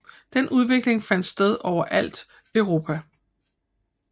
Den udvikling fandt sted overalt Europa